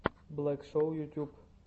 блэк шоу ютьюб